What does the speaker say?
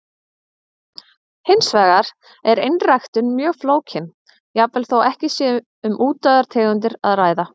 Hins vegar er einræktun mjög flókin, jafnvel þó ekki sé um útdauðar tegundir að ræða.